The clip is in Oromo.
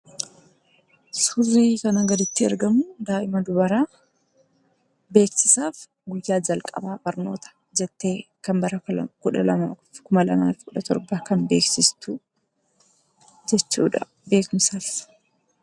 Suurri kan gaditti argamu, daa'ima dubaraa beeksisaaf guyyaa jalqabaa barnootaa jettee kan bara 2017 kan beeksistu jechuudha.